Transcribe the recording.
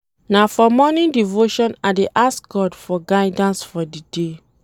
Na for morning devotion I dey ask God for guidance for di day.